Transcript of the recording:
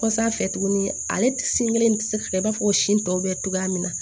Kɔ sanfɛ tuguni ale sin kelen tɛ se ka i b'a fɔ ko sin tɔ bɛ cogoya min na